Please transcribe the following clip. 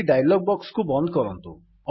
ଏହି dialog box କୁ ବନ୍ଦ କରନ୍ତୁ